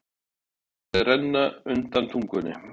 Ég finn munnvatnið renna undan tungunni.